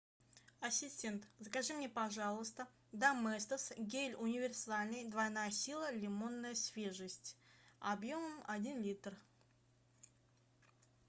ассистент закажи мне пожалуйста доместос гель универсальный двойная сила лимонная свежесть объем один литр